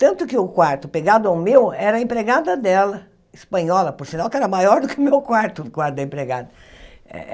Tanto que o quarto pegado ao meu era a empregada dela, espanhola, por sinal que era maior do que o meu quarto, o quarto da empregada.